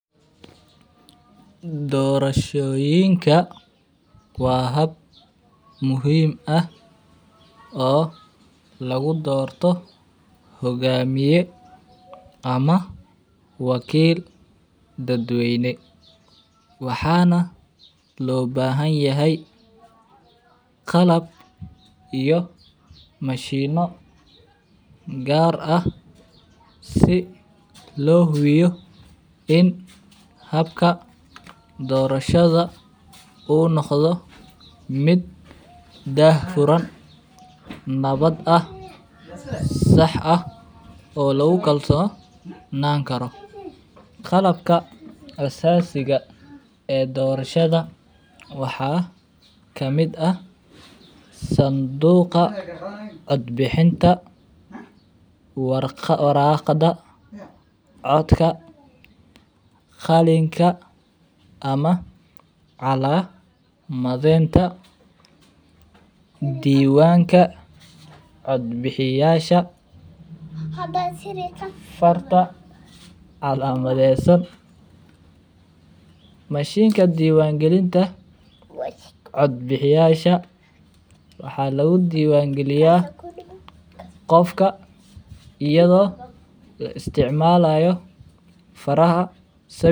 Dorashoyinka waa hab muhiim ah lagu dorto hogamiye ama wakil dad weyne, waxana lo bahan yahay qalab iyo mashino gar ah si lo hubiyo in habka dorashadha u noqdo miid dah furan nawad ah sax ah oo lagu kalsonan karo qalabka asasiga ee dorashada waxaa kamiid ah sanduqa cod bixinta waraqada codka qalinka ama calamadenta diwanka cod bixiyasha farta qalabesan mashinka diwan galinta cod bixiyasha waxaa lagu dowan galiya qofka iyadha oo la isticmalayo faraha.